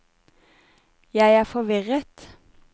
jeg er forvirret